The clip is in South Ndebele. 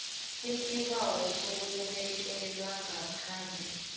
isibawo sokubekelwa ngaphandle